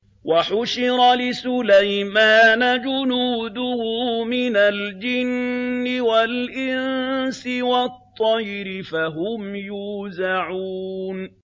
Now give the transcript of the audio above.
وَحُشِرَ لِسُلَيْمَانَ جُنُودُهُ مِنَ الْجِنِّ وَالْإِنسِ وَالطَّيْرِ فَهُمْ يُوزَعُونَ